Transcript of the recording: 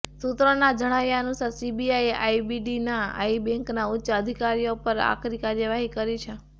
સૂત્રોના જણાવ્યા અનુસાર સીબીઆઇએ આઇડીબીઆઇ બૅન્કના ઉચ્ચ અધિકારઓ પર પણ આકરી કાર્યવાહી કરી છે